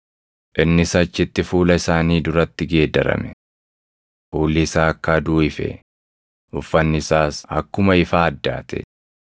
Innis achitti fuula isaanii duratti geeddarame. Fuulli isaa akka aduu ife; uffanni isaas akkuma ifaa addaate.